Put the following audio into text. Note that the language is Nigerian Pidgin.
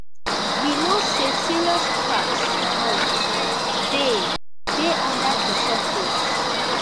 we know say serious cracks um dey dey under di surface